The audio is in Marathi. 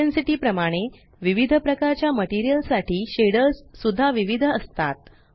इंटेन्सिटी प्रमाणे विविध प्रकारच्या मटेरियल साठी शेडर्स सुद्धा विविध असतात